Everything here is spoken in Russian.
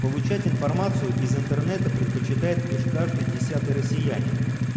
получать информацию из интернета предпочитает лишь каждый десятый россиянин